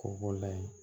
K'o b'o layi